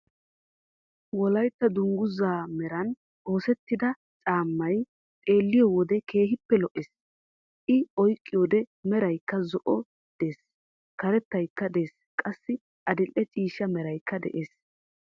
Wollaytta dunguuzzaa meran oosettida caammay xeelliyoo wode keehippe lo"ees. I oyqqido merayka zo"oy des karettaykka des qassi adil"e ciishsha meeraykka de"ees.